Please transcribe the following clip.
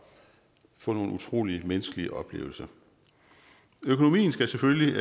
få nogle utrolige menneskelige oplevelser økonomien skal selvfølgelig